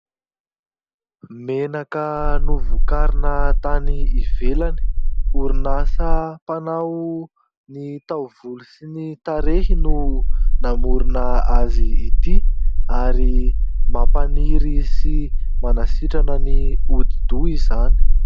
Menaka novokarina tany ivelany. Orinasa mpanao ny taovolo sy ny tarehy no namorona azy ity ary mampaniry sy manasitrana ny hodidoha izany.